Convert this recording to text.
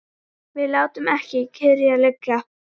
Við látum ekki kyrrt liggja.